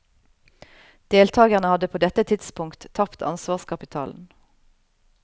Deltagerne hadde på dette tidspunkt tapt ansvarskapitalen.